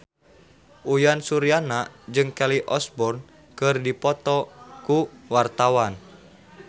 Uyan Suryana jeung Kelly Osbourne keur dipoto ku wartawan